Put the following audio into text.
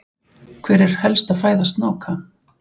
hver er helsta fæða snáka